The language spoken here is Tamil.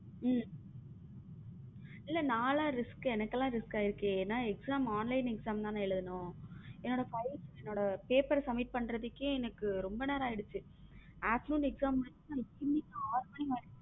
உம் இல்ல நாலாம் risk எனக்கெல்லாம் risk ஆகிருச்சு ஏன்னா exam online exam தான் எழுதணும் என்னோட files என்னோட paper submit பண்றதுக்கு எனக்கு ரொம்ப நேரம் ஆயிடுச்ச afternoon exam முடிச்சிட்டு எங்களுக்கு .